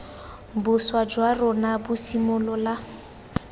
boswa jwa rona bo simolola